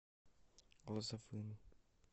глазовым